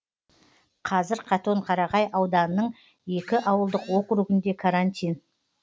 қазір қатон қарағай ауданының екі ауылдық округінде карантин